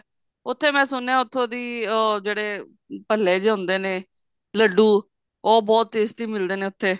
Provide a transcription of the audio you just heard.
ਉੱਥੇ ਮੈਂ ਸੁਣਿਆ ਉੱਥੋਂ ਦੀ ਉਹ ਜਿਹੜੇ ਭੱਲੇ ਜੇ ਹੁੰਦੇ ਨੇ ਲੱਡੂ ਉਹ ਬਹੁਤ tasty ਮਿਲਦੇ ਨੇ ਉੱਥੇ